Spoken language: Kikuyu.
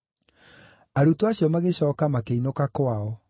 Arutwo acio magĩcooka makĩinũka kwao,